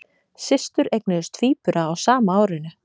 Systur eignuðust tvíbura á sama árinu